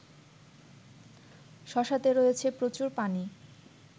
শশাতে রয়েছে প্রচুর পানি